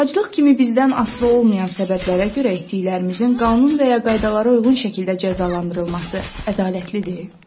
Aclıq kimi bizdən asılı olmayan səbəblərə görə etdiklərimizin qanun və ya qaydalara uyğun şəkildə cəzalandırılması ədalətlidir?